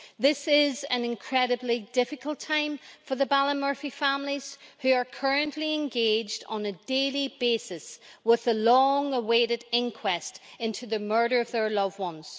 This is an incredibly difficult time for the Ballymurphy families who are currently engaged on a daily basis with the long awaited inquest into the murder of their loved ones.